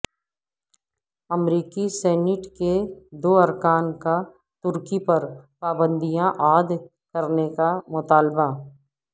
امریکی سینیٹ کے دو ارکان کا ترکی پر پابندیاں عائد کرنے کا مطالبہ